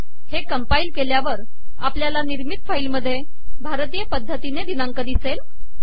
हे कंपाईल केल्यावर आपल्याला निर्मित फाईल मधे भारतीय पद्धतीने दिनांक दिसेल